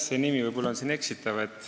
See pealkiri on siin võib-olla eksitav.